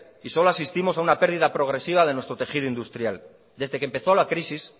y solo asistimos a una pérdida progresiva de nuestro tejido industrial desde que empezó la crisis